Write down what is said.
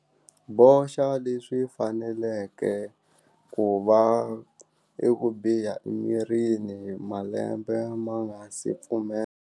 Boxa leswi faneleke ku va i ku biha emirini malembe ma nga si pfumela.